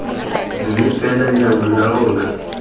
mme fela leano la rona